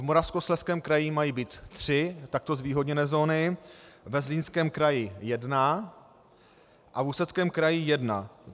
V Moravskoslezském kraji mají být tři takto zvýhodněné zóny, ve Zlínském kraji jedna a v Ústeckém kraji jedna.